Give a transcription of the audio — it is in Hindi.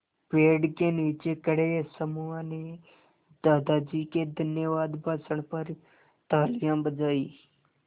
पेड़ के नीचे खड़े समूह ने दादाजी के धन्यवाद भाषण पर तालियाँ बजाईं